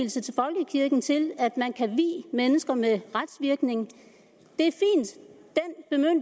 givet en til at man kan vie mennesker med retsvirkning det